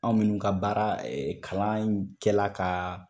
Anw minnu ka baara kalan in kɛla ka